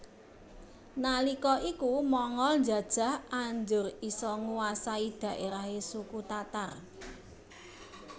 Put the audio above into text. Nalika iku Mongol njajah anjur isa nguwasai dhaerahe suku Tatar